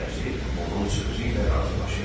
Vəzir onun sözü ilə razılaşır.